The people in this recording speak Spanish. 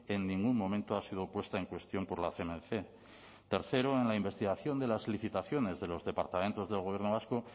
en ningún momento ha sido puesta en cuestión por la cnmc tercero en la investigación de las licitaciones de los departamentos del gobierno vasco